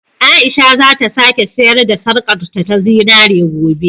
Aisha za ta sake sayar da sarƙarta ta zinare gobe.